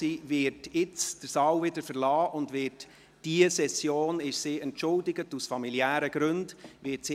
Sie wird den Saal jetzt verlassen, weil sie für diese Session aus familiären Gründen entschuldigt ist.